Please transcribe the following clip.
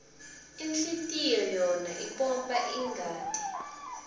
inhlitlyoyora ipompa irqati